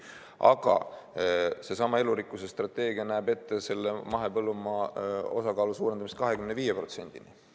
Aga seesama elurikkuse strateegia näeb ette mahepõllumaa osakaalu suurendamist 25%‑ni.